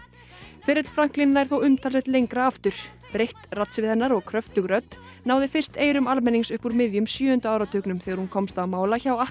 ferill Franklin nær þó umtalsvert lengra aftur breitt raddsvið hennar og kröftug rödd náði fyrst eyrum almennings upp úr miðjum sjöunda áratugnum þegar hún komst á mála hjá